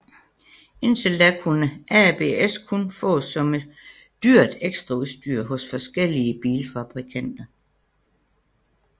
Indtil da kunne ABS kun fås som dyrt ekstraudstyr hos forskellige bilfabrikanter